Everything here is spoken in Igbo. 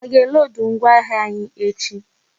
A ga e lodu ngwa ahịa anyi echi?